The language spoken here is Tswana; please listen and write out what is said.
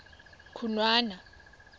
khunwana